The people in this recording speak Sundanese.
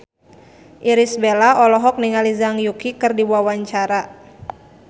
Irish Bella olohok ningali Zhang Yuqi keur diwawancara